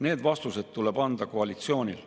Need vastused tuleb anda koalitsioonil.